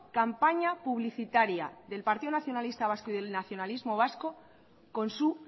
campaña publicitaria del partido nacionalista vasco y del nacionalismo vasco con su